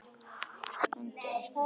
Sandi og ösku rigndi niður.